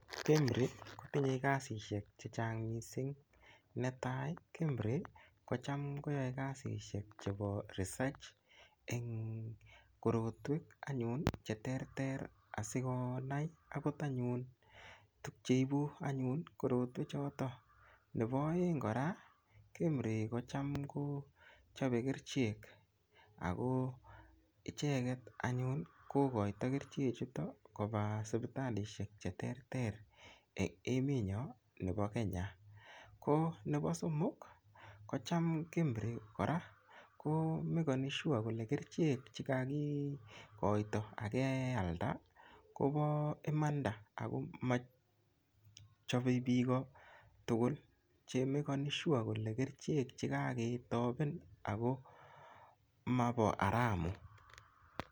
KEMRI kotinye kasishek chechang mising netai KEMRI kochamkoyoe kasishek chepo research eng korotwek anyun cheterter asikonai akot anyun tukcheipu anyun korotwechoto nopo oeng kora KEMRI kocham kochopei kerchek ako icheget anyun kokoito kerchek chuto kopa sipitalishek cheterter eng emetnyo nebo Kenya ko nebo somok ko cham KEMRI kora komekani sure kole kerchek che chekakikoito akealda kopo imanda akomachapei piko tukuul chemakani sure kole kerchek chekaketopen ako mapo haramu.